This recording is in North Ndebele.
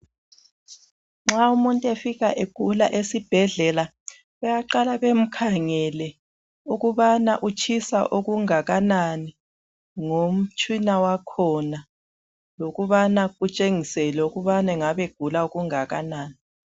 Nxa umuntu efika egula esibhedlela bayaqala bemkhangele ukubana utshisa okungakanani ngomtshina wakhona lokubana kutshengisele ukubana ugula okungakanani